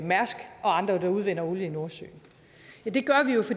mærsk og andre der udvinder olie i nordsøen